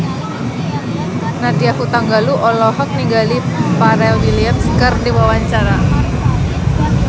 Nadya Hutagalung olohok ningali Pharrell Williams keur diwawancara